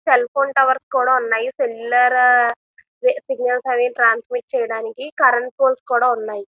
Cell phone towers కూడా ఉన్నాయి. Signals అవిని ట్రాన్స్మిట్ చేయడానికి కరెంటు పోల్స్ కూడా ఉన్నాయి.